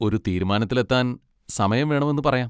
ഒരു തീരുമാനത്തിലെത്താൻ സമയം വേണമെന്ന് പറയാം.